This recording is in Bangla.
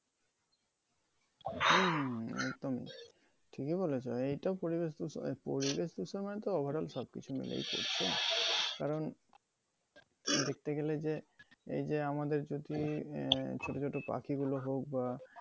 হুম, এটাই। ঠিকই বলেছ এইটা ও পরিবেশ দূষণ~ পরিবেশ দূষণ মানে তো overall সব কিছু মিলেই পড়ছে। কারণ দেখতে গেলে যে এই যে আমাদের আহ ছোট ছোট পাখিগুলো হোক বা